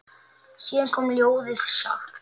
Síðan kom ljóðið sjálft: